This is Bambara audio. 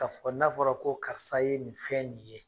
K kaa fɔ n'a fɔra ko karisa ye nin fɛn nin ye